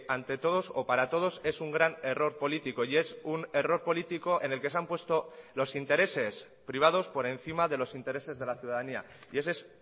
ante todos o para todos es un gran error político y es un error político en el que se han puesto los intereses privados por encima de los intereses de la ciudadanía y ese es